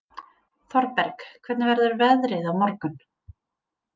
Thorberg, hvernig verður veðrið á morgun?